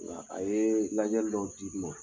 Nga a ye lajɛli dɔ di n ma.